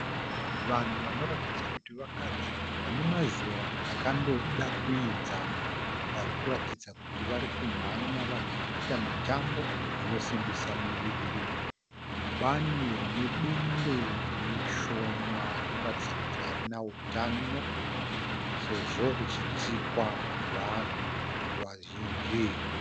Vanhu vanoratidza kuti vakadzi vane mazera akandoda kuenzana vari kuratidza kuti varikunhanya vachiita mitambo inosimbisa miviri mubani rine bundo rishoma rinoratidza kuti harina utano sezvo richitsikwa nevanhu vazhinji